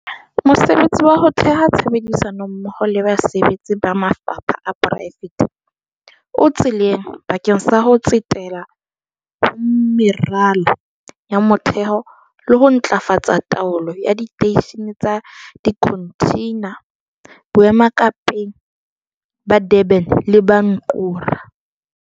Mosebetsi wa ho theha tshebedisano mmoho le basebetsi ba mafapha a poraefete o tseleng bakeng sa ho tsetela ho meralo ya motheho le ho ntlafatsa taolo ya diteishene tsa dikhonthina boemakepeng ba Durban le ba Ngqura.